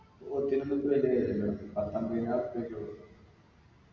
പോത്തിനൊന്നിപ്പൊ വലിയ വിലയില്ല പത്തമ്പയിനായിരുറുപ്പിയൊക്കെ ഉള്ളൂ